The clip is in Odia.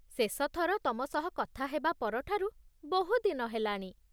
ଶେଷ ଥର ତମ ସହ କଥା ହେବା ପରଠାରୁ ବହୁ ଦିନ ହେଲାଣି